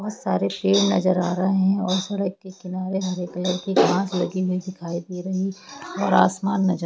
बहुत सारे पेड़ नज़र आ रहे है और सड़क के किनारे हरे कलर की घास लगी हुई दिखाई दे रही है और आसमान नज़र--